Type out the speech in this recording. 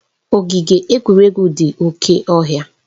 Ogige egwuregwu dị oke ọhịa.